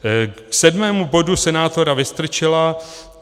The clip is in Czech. K sedmému bodu senátora Vystrčila.